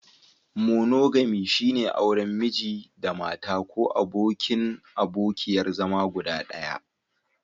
Monogami, shine auren Miji/Mata ko abokin/abokiyar zama guda ɗaya.